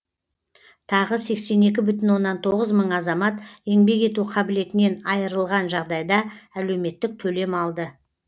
тағы сексен екі бүтін оннан тоғыз мың азамат еңбек ету қабілетінен айырылған жағдайда әлеуметтік төлем алды